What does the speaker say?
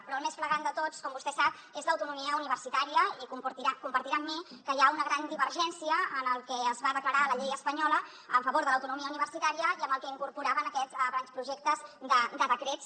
però el més flagrant de tots com vostè sap és l’autonomia universitària i compartirà amb mi que hi ha una gran divergència en el que es va declarar a la llei espanyola en favor de l’autonomia universitària i amb el que incorporava en aquests grans projectes de decrets